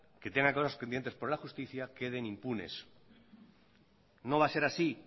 que tengan cosas pendientes por la justicia queden impunes no va a ser así